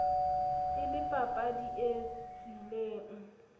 e le papadi e tswileng